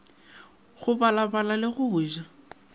go balabala le go ja